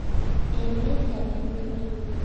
Emet ab Ukraine.